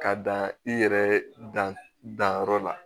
K'a dan i yɛrɛ dan danyɔrɔ la